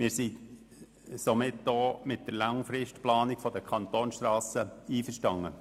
Wir sind somit auch mit der langfristigen Planung der Kantonsstrassen einverstanden.